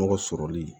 Mɔgɔ sɔrɔli